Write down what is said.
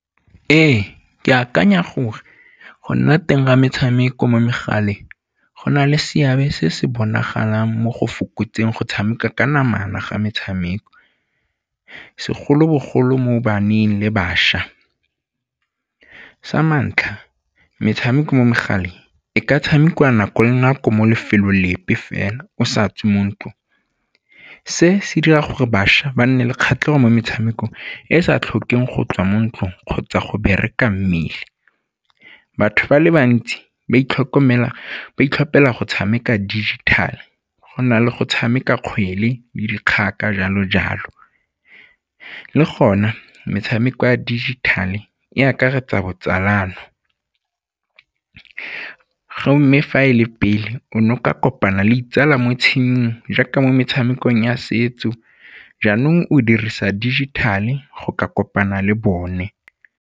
Ee, ke akanya gore go nna teng ga metshameko mo megaleng go na le seabe se se bonagalang mo go fokotseng go tshameka ka namana ga metshameko, segolobogolo mo baneng le bašwa. Sa ntlha, metshameko mo megaleng e ka tshamekiwa nako le nako mo lefelong lepe fela o sa tswe mo ntlong. Se se dira gore bašwa ba nne le kgatlhego mo metshamekong e e sa tlhokeng go tswa mo ntlong kgotsa go bereka mmele. Batho ba le bantsi ba itlhophela go tshameka dijithale go na le go tshameka kgwele le jalo-jalo. Le gona, metshameko ya dijithale e akaretsa botsalano fa e le pele o ne o ka kopana le ditsala mo jaaka mo metshamekong ya setso jaanong o dirisa digital-e go ka kopana le bone.